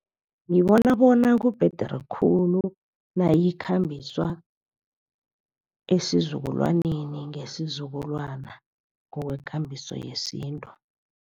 Ngibona bona kubhedere khulu nayikhambiswa esizukulwaneni ngesizukulwana ngokwekambiso yesintu.